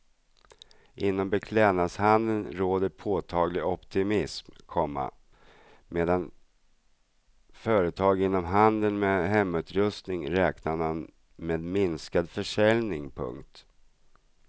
Inom beklädnadshandeln råder påtaglig optimism, komma medan företag inom handeln med hemutrustning räknar med minskad försäljning. punkt